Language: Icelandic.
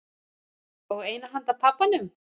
Og eina handa pabbanum.